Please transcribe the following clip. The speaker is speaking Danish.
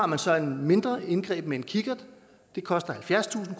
man så et mindre indgreb med en kikkert det koster halvfjerdstusind